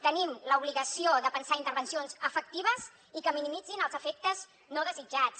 tenim l’obligació de pensar intervencions efectives i que minimitzin els efectes no desitjats